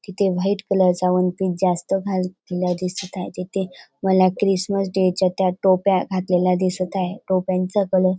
तिथे वाईट कलर चा वणपिस जास्त भारी दिसत हाय तिथे मला क्रिसमस डे त्या टोप्या घातलेल्या दिसत हाय टोप्यांचा कलर --